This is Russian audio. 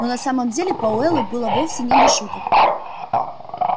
но на самом деле пауэллу было вовсе не до шуток